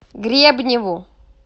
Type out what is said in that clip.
гребневу